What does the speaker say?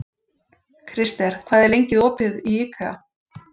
Krister, hvað er lengi opið í IKEA?